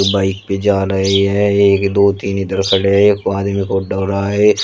Bike पे जा रहे हैं एक दो तीन इधर खड़े हैं एक रहा है।